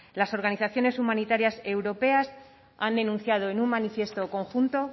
las organizaciones humanitarias europeas han denunciado en un manifiesto conjunto